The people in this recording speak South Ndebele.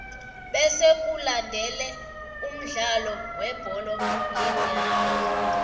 bese kulandele umdlalo webholo yenyawo